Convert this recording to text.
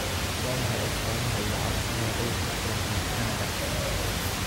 Waa maxay astamaha iyo calaamadaha cudurka Cronkite Kanada?